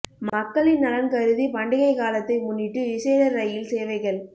மக்களின் நலன் கருதி பண்டிகை காலத்தை முன்னிட்டு விசேட ரயில் சேவைகள்